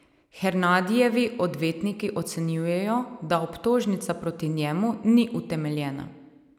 Hernadijevi odvetniki ocenjujejo, da obtožnica proti njemu ni utemeljena.